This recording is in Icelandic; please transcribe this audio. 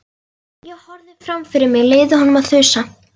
Ég horfði fram fyrir mig, leyfði honum að þusa.